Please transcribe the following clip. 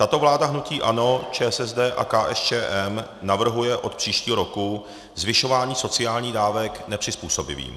Tato vláda hnutí ANO, ČSSD a KSČM navrhuje od příštího roku zvyšování sociálních dávek nepřizpůsobivým.